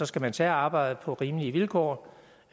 skal man tage arbejdet på rimelige vilkår